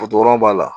b'a la